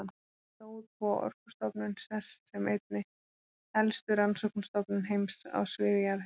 Tókst að búa Orkustofnun sess sem einni helstu rannsóknastofnun heims á sviði jarðhita.